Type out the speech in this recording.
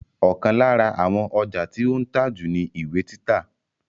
Ọ̀kan lára àwọn ọjà tí ó ń tà jù ni ìwé títa